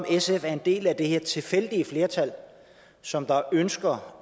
sf er en del af det her tilfældige flertal som ønsker